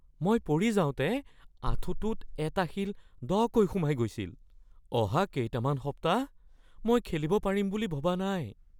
মই পৰি যাওঁতে আঁঠুটোত এটা শিল দকৈ সোমাই গৈছিল। অহা কেইটামান সপ্তাহ মই খেলিব পাৰিম বুলি ভবা নাই।